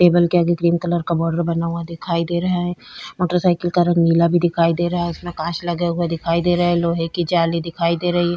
Table के आगे cream colour का बॉर्डर बना हुआ दिखाई दे रहा है। मोटरसाइकिल का रंग नीला भी दिखाई दे रहा है इसमें कांच लगे हुए दिखाई दे रहे है लोहे की जाली दिखाई दे रही है।